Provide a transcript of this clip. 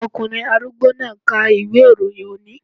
Ọkùnrin arúgbó náà ń ka ìwé-ìròyìn òní